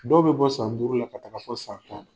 Dɔw be bɔ san duuru la ka taga fɔ san tan na.